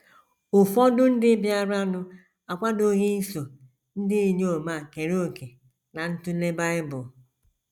Ụfọdụ ndị bịaranụ akwadoghị iso ndị inyom a kere òkè ná ntụle Bible.